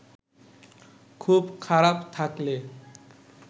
খুব খারাপ থাকলে